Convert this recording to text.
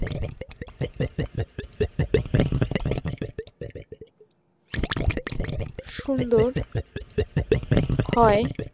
সুন্দর হয়